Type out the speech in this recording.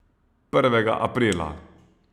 Prvega aprila.